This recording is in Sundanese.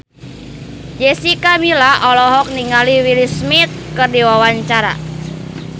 Jessica Milla olohok ningali Will Smith keur diwawancara